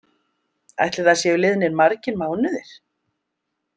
Ætli það séu liðnir margir mánuðir?